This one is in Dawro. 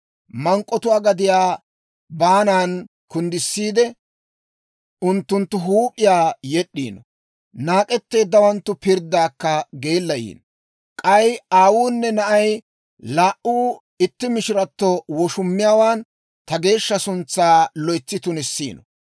Mank'k'otuwaa gadiyaa baanan kunddissiidde, unttunttu huup'iyaa yed'd'iino; naak'etteeddawanttu pirddaakka geellayiino. K'ay aawunne na'ay laa"u itti mishirato woshumiyaawaan ta geeshsha suntsaa loytsi tunissiino.